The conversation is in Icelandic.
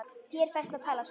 Þér ferst að tala svona!